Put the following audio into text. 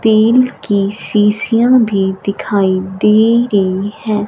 तेल की सीसीया भी दिखाई दे रही है।